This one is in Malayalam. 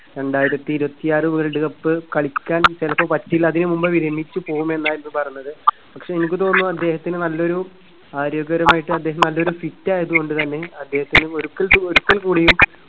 രണ്ടായിരത്തിയിരുപത്തിയാറ് വേൾഡ് കപ്പ് കളിക്കാൻ ചിലപ്പോൾ പറ്റില്ല അതിനു മുൻപേ വിരമിച്ചുപോകുമെന്നായിരുന്നു പറഞ്ഞത്. പക്ഷേ എനിക്ക് തോന്നുന്നു അദ്ദേഹത്തിന് നല്ലൊരു ആരോഗ്യപരമായിട്ട് അദ്ദേഹം നല്ല ഒരു fit ആയതുകൊണ്ടുതന്നെ അദ്ദേഹത്തിന് ഒരിക്കൽ ഒരിക്കൽക്കൂടിയും